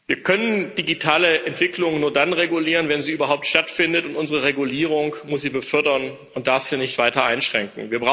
Wir können digitale Entwicklung nur dann regulieren, wenn sie überhaupt stattfindet, und unsere Regulierung muss sie befördern und darf sie nicht weiter einschränken.